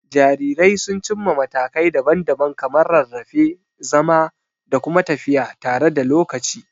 Jarirai sun cimma matakai daban-daban kamar rarrafe, zama, da kuma tafiya tare da lokaci.